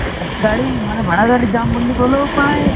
গাড়ী মানে ভাৰা গাড়ীত যাম বুলি কলেওঁ প্ৰাই